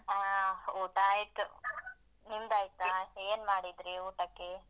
ಹಾ ಊಟ ಆಯ್ತು. ನಿಮ್ದು ಆಯ್ತಾ? ಏನ್ ಮಾಡಿದ್ರಿ ಊಟಕ್ಕೆ?